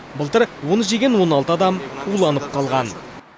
былтыр оны жеген он алты адам уланып қалған